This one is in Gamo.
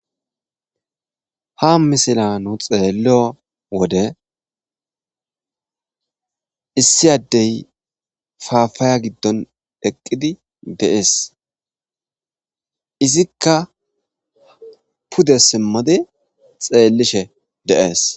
Ha missilla nu xelliyo wode Issi adde papaya gidon eqqidi de'ss. Izzikka pude simidi xelishe de'ss.